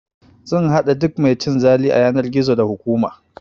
Zan haɗa duk mai cin zali a yanar gizo, da hukuma!